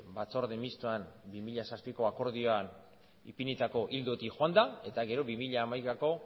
batzorde mistoan bi mila zazpiko akordioan ipinitako ildotik joanda eta gero bi mila hamaikako